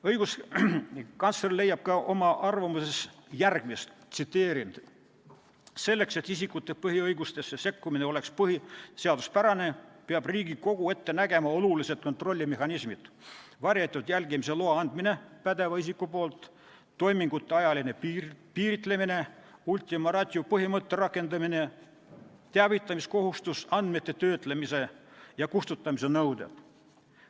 Õiguskantsler leiab oma arvamuses järgmist: "Selleks et isikute põhiõigustesse sekkumine oleks põhiseaduspärane, peab Riigikogu ette nägema olulised kontrollimehhanismid: varjatud jälgimise loa andmine pädeva isiku poolt, toimingute ajaline piiritlemine, ultima ratio põhimõtte rakendamine, teavitamiskohustus, andmete töötlemise nõuded.